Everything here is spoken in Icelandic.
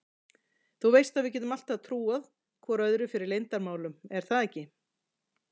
Þú veist að við getum alltaf trúað hvor öðrum fyrir leyndarmálum er það ekki?